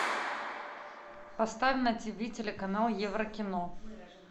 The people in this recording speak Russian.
поставь на тв телеканал еврокино